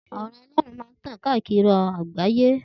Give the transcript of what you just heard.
The word of God will keep spreading across the world.